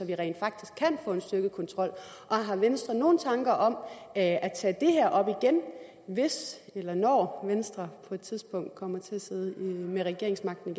vi rent faktisk kan få en styrket kontrol og har venstre nogen tanker om at at tage det her op igen hvis eller når venstre på et tidspunkt kommer til at sidde med regeringsmagten